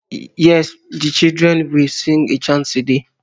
Yesm the children will sing a chant today